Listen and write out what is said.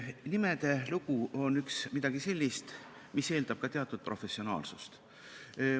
Nimede lugu on midagi sellist, mis eeldab ka teatud professionaalsust.